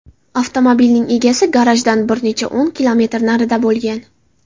Avtomobilning egasi garajdan bir necha o‘n kilometr narida bo‘lgan.